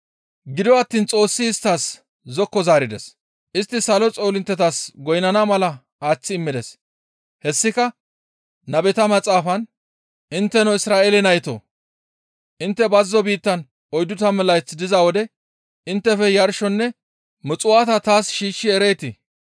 «Gido attiin Xoossi isttas zokko zaarides; istti salo xoolinttetas goynnana mala aaththi immides; hessika nabeta maxaafan, « ‹Intteno Isra7eele naytoo! Intte bazzo biittan oyddu tammu layth diza wode inttefe yarshonne muxuwaata taas shiishshi ereetii?